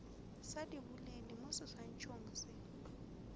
sa diboledi mo seswantšhong se